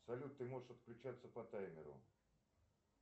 салют ты можешь отключаться по таймеру